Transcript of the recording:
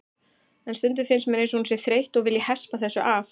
En stundum finnst mér eins og hún sé þreytt og vilji hespa þessu af.